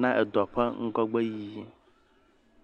na edɔ ƒe ŋgɔgbe yiyi.